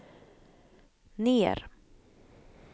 ner